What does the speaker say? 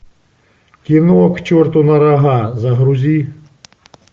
кино к черту на рога загрузи